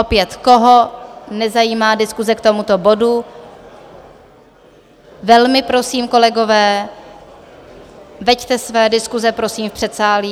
Opět, koho nezajímá diskuse k tomuto bodu, velmi prosím, kolegové, veďte své diskuse prosím v předsálí.